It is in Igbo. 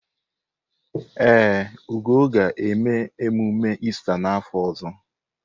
Ee, Ugo ga-eme emume Ista n’afọ ọzọ.